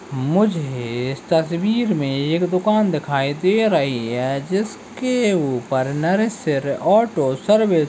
मुझे इस तस्वीर में एक दुकान दिखाई दे रही है जिसके ऊपर नासिर ऑटो सर्विस --